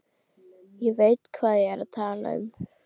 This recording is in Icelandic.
Ég veit hvað ég er að tala um.